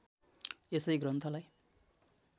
यसै ग्रन्थलाई